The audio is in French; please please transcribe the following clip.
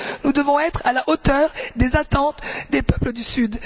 Nous devons être à la hauteur des attentes des peuples du Sud.